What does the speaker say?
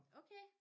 Okay